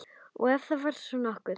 Ef það var þá nokkuð.